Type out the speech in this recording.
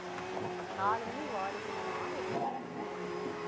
நாலு மணி வாரிசாமா, எட்டு மணிக்கு துணிவாம்மா.